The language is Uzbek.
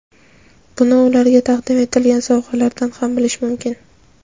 Buni ularga taqdim etilgan sovg‘alardan ham bilish mumkin.